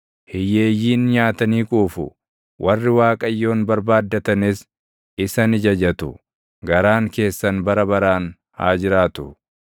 Hiyyeeyyiin nyaatanii quufu; warri Waaqayyoon barbaaddatanis isa ni jajatu; garaan keessan bara baraan haa jiraatu!